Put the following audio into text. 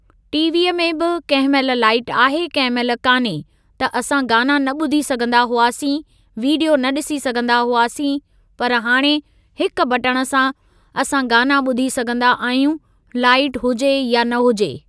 टीवीअ में बि कंहिं महिल लाइट आहे कंहिं महिल कान्हे त असां गाना न ॿुधी सघंदा हुआसीं विडीयो न ॾिसी सघंदा हुआसीं पर हाणे हिकु बटण सां असां गाना ॿुधी सघंदा आहियूं लाइट हुजे या न हुजे।